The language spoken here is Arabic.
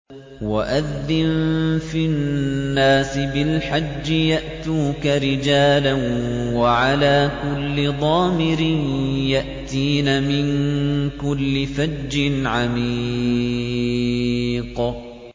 وَأَذِّن فِي النَّاسِ بِالْحَجِّ يَأْتُوكَ رِجَالًا وَعَلَىٰ كُلِّ ضَامِرٍ يَأْتِينَ مِن كُلِّ فَجٍّ عَمِيقٍ